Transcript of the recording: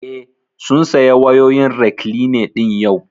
Eh, sun saya wayoyin rekline ɗin yau